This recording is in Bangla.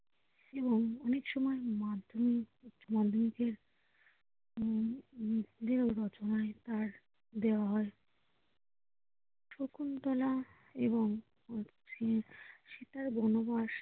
এবং অনেক সময় মাধ্যমিক দেওয়া হয় শকুন্তলা এবং সীতার বনবাস